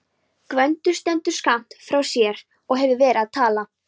Gvendur stendur skammt frá og hefur verið að tala.